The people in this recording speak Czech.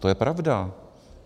To je pravda.